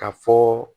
Ka fɔ